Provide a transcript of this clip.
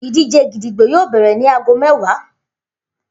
Idije gídígbò yoo bẹrẹ ni aago mẹwa.